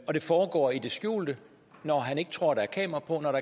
og det foregår i det skjulte når han ikke tror der er kamera på når